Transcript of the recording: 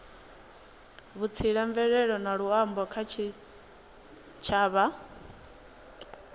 vhutsila mvelele na luambo kha tshitshavha